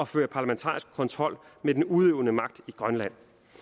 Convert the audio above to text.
føre parlamentarisk kontrol med den udøvende magt i grønland